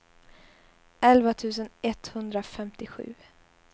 elva tusen etthundrafemtiosju